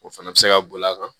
O fana bɛ se ka boli a kan